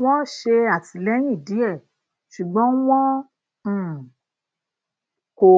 wọn ṣè àtìlẹyìn díẹ ṣùgbọn wọn um kò